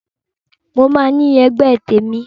Mo máa ní ẹgbẹ́ tèmi